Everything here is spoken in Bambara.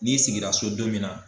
N'i sigira so don min na